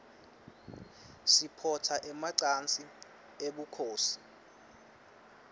siphotsa emacansi ebunkhosi